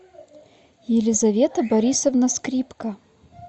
елизавета борисовна скрипка